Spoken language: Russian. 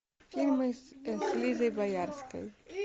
фильмы с лизой боярской